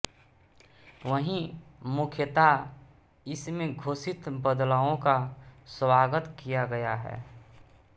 वहीं मुख्यता इसमें घोषित बदलावों का स्वागत किया गया है